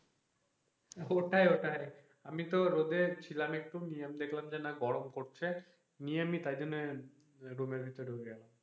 ওটাই ওটাই তাই আমি তো রোদে ছিলাম একটু খানি না দেখলাম যে অল্প গরম পড়ছে এমনি আমি তাই জন্যে room ভিতরে বয়ে,